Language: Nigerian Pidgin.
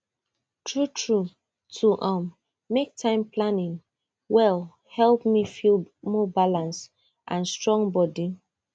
truetrue to um make time plan wellhelp me feel more balanced and strong body